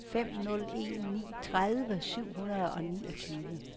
fem nul en ni tredive syv hundrede og niogtyve